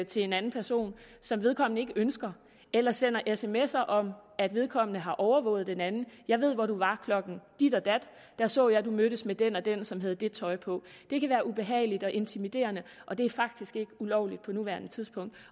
til en anden person som vedkommende ikke ønsker eller sender sms’er om at vedkommende har overvåget den anden jeg ved hvor du var klokken dit og dat der så jeg at du mødtes med den og den som havde det tøj på det kan være ubehageligt og intimiderende og det er faktisk ikke ulovligt på nuværende tidspunkt